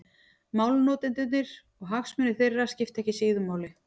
Málnotendurnir og hagsmunir þeirra skipta ekki síður máli.